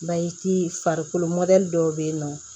farikolo dɔw be yen nɔ